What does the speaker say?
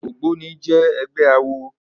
Ógbóni jè ègbè àwó